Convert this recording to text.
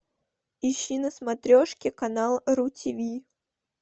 ищи на смотрешке канал ру тв